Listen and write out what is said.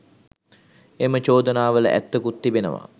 එම චෝදනා වල ඇත්තකුත් තිබෙනවා.